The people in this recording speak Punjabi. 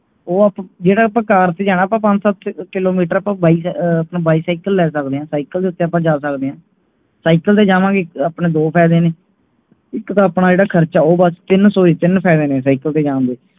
ਉਹ ਜਿਹੜਾ ਆਪਾ car ਤੇ ਜਾਣਾ ਆਪਾ ਪੰਜ ਸੱਤ kilometer ਜਾਣਾ ਆਪਾ ਬਾਈ bicycle ਲੈ ਸਕਦੇ ਹਾਂ cycle ਦੇ ਉੱਤੇ ਆਪਾਂ ਜਾਂ ਸੱਕਦੇ ਹਾਂ cycle ਤੇ ਜਾਵਾਂਗੇ ਆਪਣੇ ਦੋ ਫਾਇਦੇ ਨੇ ਇਕ ਤੋਂ ਆਪਣਾ ਇਹਦਾ ਖਰਚਾ ਉਹ ਬਸ ਤਿੰਨ ਫਾਇਦੇ ਨੇ cycle ਤੇ ਜਾਣ ਦੇ